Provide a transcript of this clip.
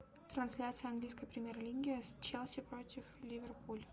трансляция английской премьер лиги челси против ливерпуль